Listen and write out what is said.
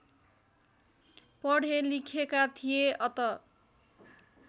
पढेलिखेका थिए अत